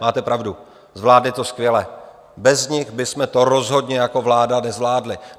Máte pravdu, zvládli to skvěle, bez nich bychom to rozhodně jako vláda nezvládli.